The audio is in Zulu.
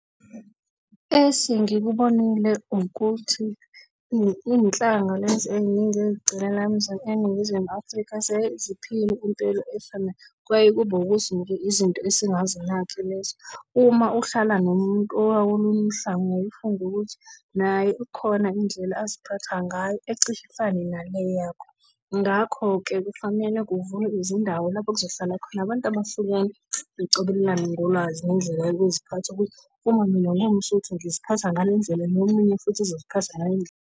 Esengikubonile ukuthi izinhlanga lezi eziningi lana eNingizimu Afrika seziphila impilo efanayo. Kuyaye kube ukuthi nje izinto esingazinaki lezo. Uma uhlala nomuntu owolunye uhlangu uyaye ufunde ukuthi naye kukhona indlela aziphatha ngayo ecishe ifane nale yakho. Ngakho-ke kufanele kuvulwe izindawo lapho kuzohlala khona abantu abahlukene, bacobelelane ngolwazi nendlela yokuziphatha ukuthi, uma mina ngingumSotho ngiziphatha ngale ndlela nomunye futhi uzoziphatha ngalendlela.